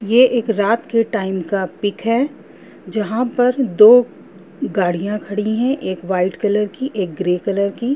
ये एक रात के टाइम का पिक है जहाँ पर दो गाड़ियां खड़ी है एक व्हाइट कलर की एक ग्रे कलर की।